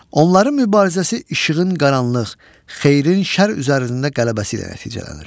Onların mübarizəsi işığın qaranlıq, xeyrin şər üzərində qələbəsi ilə nəticələnir.